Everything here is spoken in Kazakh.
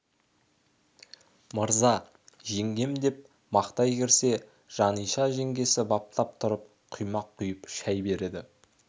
мырза жеңгем деп мақтай кірсе жаниша жеңгесі баптап тұрып құймақ құйып шай береді